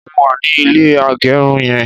mo wà ni ilé agerun yen